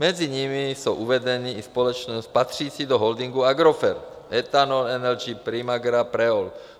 Mezi nimi jsou uvedeny i společnosti patřící do holdingu AGROFERT: Ethanol Energy, Primagra, PREOL.